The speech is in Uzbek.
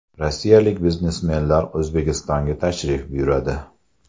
Rossiyalik biznesmenlar O‘zbekistonga tashrif buyuradi.